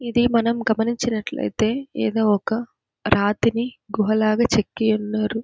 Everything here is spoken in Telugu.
ఇది మనం గమనించినట్లయితే ఏదో ఒక రాతిని గుహలాగ చెక్కియున్నారు.